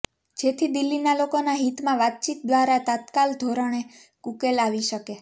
જેથી દિલ્હીના લોકોના હિતમાં વાતચીત ઘ્વારા તત્કાલ ધોરણે ઉકેલ આવી શકે